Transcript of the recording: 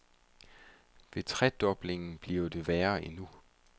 Ved tredoblingen bliver det værre endnu.